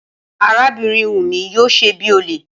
Arábìnrin Wumi yóò ṣe bíi olè